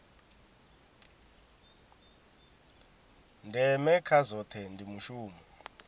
ndeme kha zwohe ndi mushumo